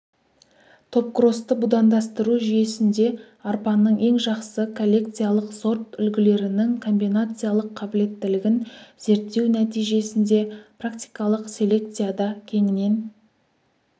топкросты будандастыру жүйесінде арпаның ең жақсы коллекциялық сорт үлгілерінің комбинациялық қабілеттілігін зерттеу нәтижесінде практикалық селекцияда кеңінен